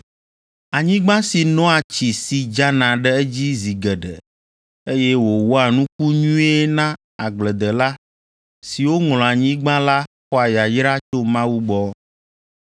Anyigba si noa tsi si dzana ɖe edzi zi geɖe, eye wòwɔa nuku nyuie na agbledela siwo ŋlɔa anyigba la xɔa yayra tso Mawu gbɔ.